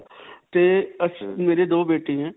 ਤੇ ਮੇਰੀ ਦੋ ਬੇਟੇ ਹੈ.